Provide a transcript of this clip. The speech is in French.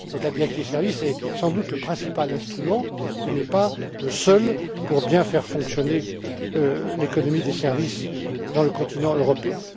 La directive Services est sans doute le principal instrument il n'est pas le seul pour bien faire fonctionner l'économie des services sur le continent européen.